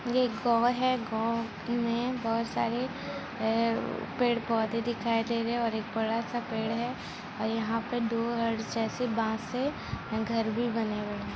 ये एक गांव है गांव में बोहत सारे है व-व पेड़-पौधे दिखाई दे रहे हैं और एक बड़ा-सा पेड़ है और यहाँ पर दो से बाँस है घर भी बने हुए हैं।